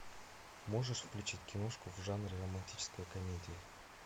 можешь включить киношку в жанре романтическая комедия